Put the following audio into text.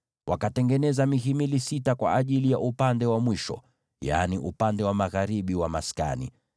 Wakatengeneza mihimili sita kwa mwisho ulio mbali, yaani upande wa magharibi wa maskani,